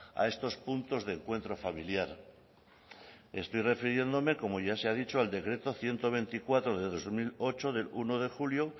a estos puntos de encuentro familiar estoy refiriéndome como ya se ha dicho al decreto ciento veinticuatro de dos mil ocho del uno de julio